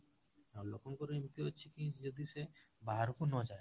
ଆଉ ଲୋକଙ୍କ ଏମିତି ଅଛି ଯେ ଯଦି ସେ ବାହାରକୁ ନଯାଏ